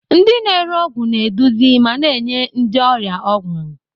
Ndị na-ere ọgwụ na-eduzi ma na-enye ndị ọrịa ọgwụ.